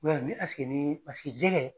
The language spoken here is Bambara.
Mɛ ni ɛseke ni paseke jɛgɛ